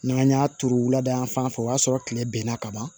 N'an y'a turu wulada yan fan fɛ o y'a sɔrɔ tile bɛ n na ka ban